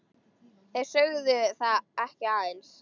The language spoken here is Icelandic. Þeir sögðu það ekki aðeins.